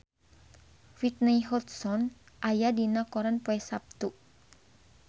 Whitney Houston aya dina koran poe Saptu